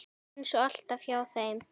Eins og alltaf hjá þeim.